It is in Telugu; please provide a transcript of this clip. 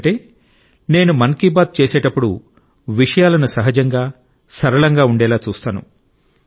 ఎందుకంటే నేను మన్ కి బాత్ చేసేటప్పుడు విషయాలను సహజంగా సరళంగా ఉండేలా చూస్తాను